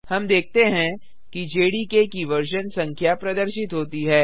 हम देखते हैं कि जेडीके की वर्जन संख्या प्रदर्शित होती है